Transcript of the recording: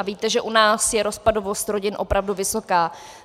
A víte, že u nás je rozpadovost rodin opravdu vysoká.